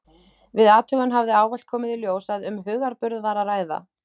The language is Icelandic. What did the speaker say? Við athugun hafði ávallt komið í ljós að um hugarburð var að ræða.